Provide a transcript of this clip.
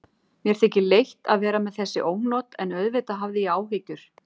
Mér þykir leitt að vera með þessi ónot en auðvitað hafði ég áhyggjur.